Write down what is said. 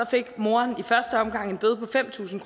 fik moderen i første omgang en bøde på fem tusind